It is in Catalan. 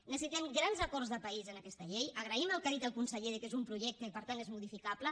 necessitem grans acords de país en aquesta llei agraïm el que ha dit el conseller que és un projecte i per tant és modificable